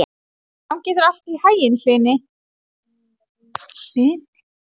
Gangi þér allt í haginn, Hlini.